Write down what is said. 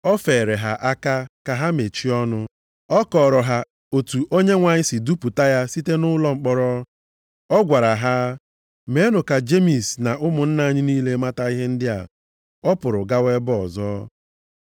O feere ha aka ka ha mechie ọnụ. Ọ kọọrọ ha otu Onyenwe anyị si dupụta ya site nʼụlọ mkpọrọ. Ọ gwara ha, “Meenụ ka Jemis na ụmụnna anyị niile mata ihe ndị a.” Ọ pụrụ gawa ebe ọzọ.